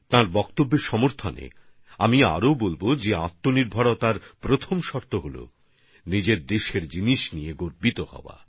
তাঁর এই বক্তব্যকে তুলে ধরে আমি এটাও বলব যে আত্মনির্ভরতার প্রথম শর্ত হচ্ছে নিজের দেশের জিনিসপত্র নিয়ে গর্বিত হওয়া